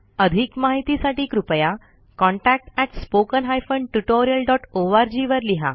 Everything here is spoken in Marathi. अधिक माहितीसाठी कृपया contactspoken tutorialorg वर लिहा